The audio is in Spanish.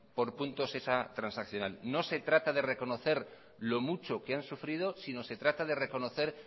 por puntos esa transaccional no se trata de reconocer lo mucho que han sufrido sino se trata de reconocer